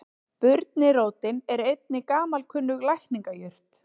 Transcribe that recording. Burnirótin er einnig gamalkunnug lækningajurt.